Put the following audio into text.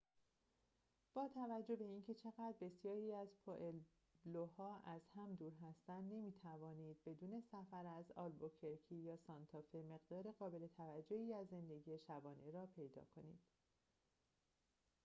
با توجه به اینکه چقدر بسیاری از پوئبلوها از هم دور هستند نمی‌توانید بدون سفر به آلبوکرکی یا سانتافه مقدار قابل توجهی از زندگی شبانه را پیدا کنید